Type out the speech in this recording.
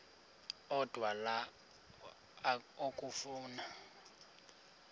odwa la okafuna